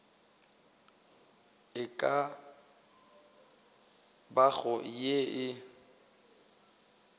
e ka bago ye e